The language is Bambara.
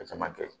A caman kɛ